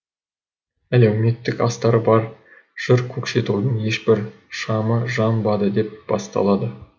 әлеуметтік астары бар жыр көкшетаудың ешбір шамы жамбады деп басталады